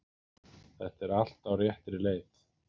Þetta er allt á réttri leið